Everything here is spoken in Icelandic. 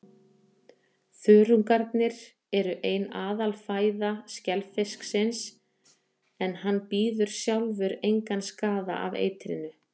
Þörungarnir eru ein aðalfæða skelfisksins, en hann bíður sjálfur engan skaða af eitrinu.